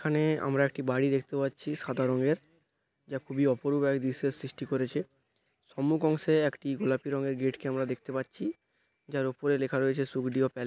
এখানে আমরা একটি বাড়ি দেখতে পাচ্ছি সাদা রঙের যা খুবই অপূর্ব গায়ের দৃশ্যের সৃষ্টি করেছে সম্মুখ অংশে একটি গোলাপি রঙের গেট -কে আমরা দেখতে পাচ্ছি । যার উপরে লেখা রয়েছে সুবিলিয়ার এল--